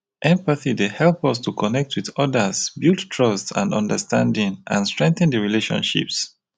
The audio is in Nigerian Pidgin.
empathy dey help us to connect with odas build trust and understanding and strengthen di relationships.